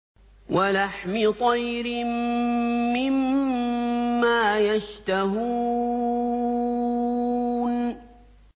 وَلَحْمِ طَيْرٍ مِّمَّا يَشْتَهُونَ